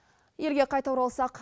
елге қайта оралсақ